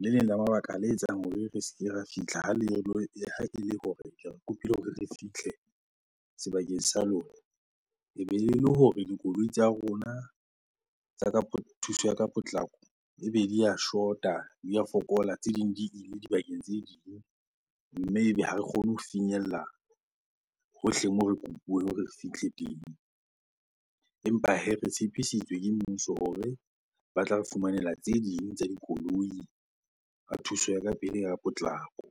le leng la mabaka le etsang hore re se ke ra fihla ha ele hore kopile hore re fihle sebakeng sa lona. Ebe le hore dikoloi tsa rona tsa ka thuso ya ka potlako ebe di a shota, di a fokola. Tse ding di ile dibakeng tse ding, mme ebe ha re kgone ho finyella hohle moo re kopuweng hore re fihle teng. Empa hee, re tshepisitswe ke mmuso hore ba tla re fumanela tse ding tsa dikoloi thuso ya ka pele ya potlako.